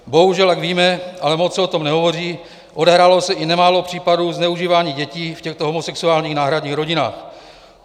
Bohužel jak víme, ale moc se o tom nehovoří, odehrálo se i nemálo případů zneužívání dětí v těchto homosexuálních náhradních rodinách.